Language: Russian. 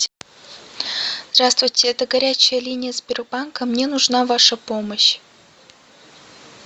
здравствуйте это горячая линия сбербанка мне нужна ваша помощь